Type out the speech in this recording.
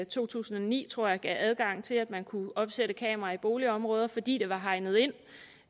to tusind og ni tror jeg gav adgang til at man kunne opsætte kameraer i boligområder fordi det var hegnet ind